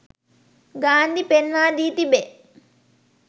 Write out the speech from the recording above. ගාන්ධි පෙන්වා දී තිබේ